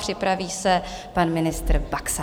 Připraví se pan ministr Baxa.